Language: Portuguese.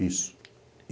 Isso.